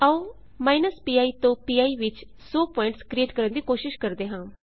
ਆਓ pi ਤੋਂ P ਵਿੱਚ 100 ਪੁਆਇੰਟਸ ਕਰਿਏਟ ਕਰਨ ਦੀ ਕੋਸ਼ਿਸ਼ ਕਰਦੇ ਹਾਂ